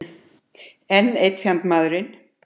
Enn einn fjandmaðurinn.